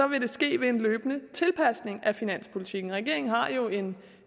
vil det ske ved en løbende tilpasning af finanspolitikken regeringen har jo en